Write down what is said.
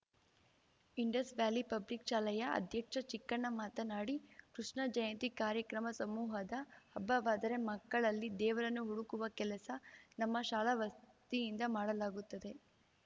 Indus Valley Public ಶಾಲೆಯ ಅಧ್ಯಕ್ಷ ಚಿಕ್ಕಣ್ಣ ಮಾತನಾಡಿ ಕೃಷ್ಣ ಜಯಂತಿ ಕಾರ್ಯಕ್ರಮ ಸಮೂಹದ ಹಬ್ಬವಾದರೆ ಮಕ್ಕಳಲ್ಲಿ ದೇವರನ್ನು ಹುಡುಕುವ ಕೆಲಸ ನಮ್ಮ ಶಾಲಾ ವತಿಯಿಂದ ಮಾಡಲಾಗುತ್ತದೆ